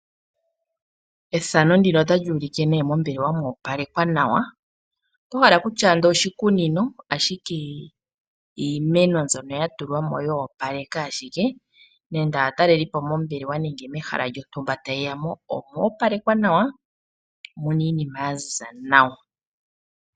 Ethano ndino otali ulike nee mombelewa moopalekwa nawa, otohala okutya ando oshikunino ashike iimeno mbyoka yatulwa mo yoopaleka ashike, nenge aatalelipo mombelewa nenge mehala lyotumba taye yamo omo palekwa nawa muna iinima yaziza nawa.